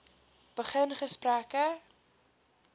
begin gesprekke